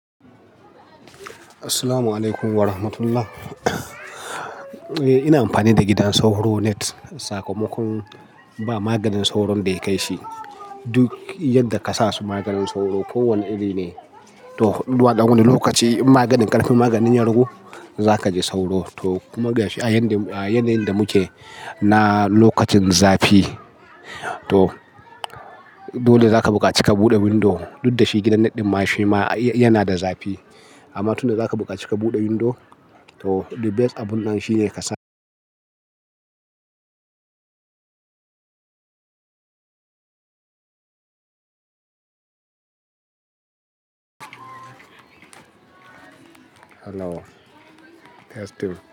Assalamu alaikum wa rahmatullah. Eh ina amfani da gidan sauro net. Sakamakon ba maganin sauron da ya kai shi. Duk yadda ka sa su maganin sauro, kowane iri ne. To, zuwa ɗan wani lokaci in maganin ƙarfin maganin ya rugu, za ka ji sauro. To, kuma gashi a yanayin da muke na lokacin zafi. To, dole za ka bukaci ka buɗe windo. Duk da shi gidan net ɗin ma shi ma yana da zafi. Amma tun da za ka bukaci ka buɗe windo, to the best abun nan shi ne ka sa Hello. Testing.